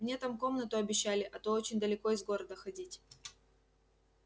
мне там комнату обещали а то очень далеко из города ходить